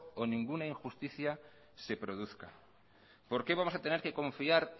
o ninguna injusticia se produzca por qué vamos a tener confiar